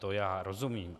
To já rozumím.